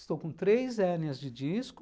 Estou com três hérnias de disco.